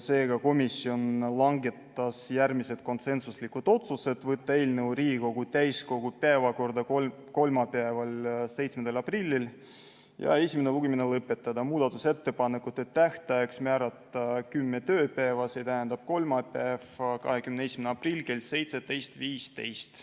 Seega, komisjon langetas järgmised konsensuslikud otsused: võtta eelnõu Riigikogu täiskogu päevakorda kolmapäevaks, 7. aprilliks, esimene lugemine lõpetada, muudatusettepanekute tähtajaks määrata 10 tööpäeva, st kolmapäev, 21. aprill kell 17.15.